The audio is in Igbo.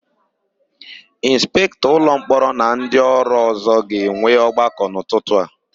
Ịnspektọ ụlọmkpọrọ na ndịọrụ ọ̀zọ́ ga-enwe ọgbakọ n'ụtụtụ a.